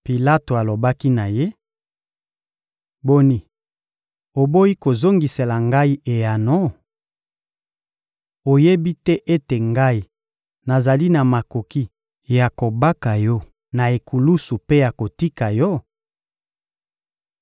Pilato alobaki na Ye: — Boni, oboyi kozongisela ngai eyano? Oyebi te ete ngai nazali na makoki ya kobaka yo na ekulusu mpe ya kotika yo?